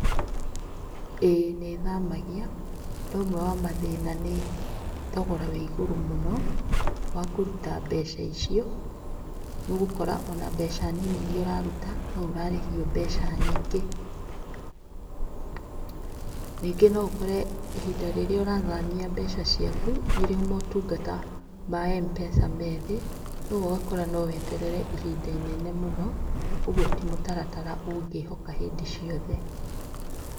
Ĩĩ nĩthamagia na ũmwe wa mathĩna nĩ thogora wa igũrũ mũno wakũruta mbeca icio. Nĩũgũkora ona mbeca nini iria ũraruta nĩũrarĩhio mbeca nyingĩ. Ningĩ noũkore ihinda rĩrĩa ũrathamia mbeca ciaku, nĩrĩo motungata ma Mpesa methĩ, ũguo ũgakora noweterere ihinda inene mũno ũguo ti mũtaratara ũngĩhoka hĩndĩ ciothe.